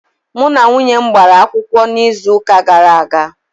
Mụ na nwunye m gbara akwụkwọ n'izuuka gara aga.